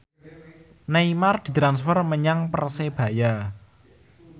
Neymar ditransfer menyang Persebaya